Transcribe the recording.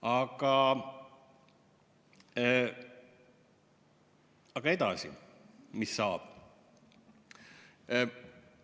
Aga mis edasi saab?